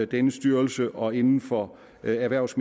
denne styrelse og inden for erhvervs